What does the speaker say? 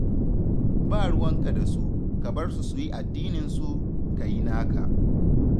Ba ruwanka da su, ka bar su su yi addininsu, ka yi naka